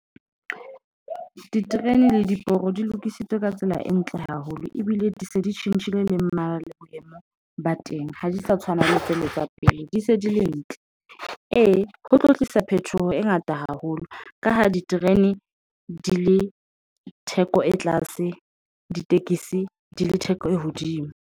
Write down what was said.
Diterene le diporo di lokisitswe ka tsela e ntle haholo, ebile di se di tjhentjhile le mmala le boemo ba teng ha di sa tshwana le sebetsa pele di se di ntle. Ee, ho tlo tlisa phetoho e ngata haholo. Ka ha diterene di le theko e tlase, ditekesi di le theko e hodimo.